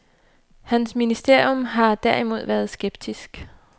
Hans ministerium her derimod været skeptisk.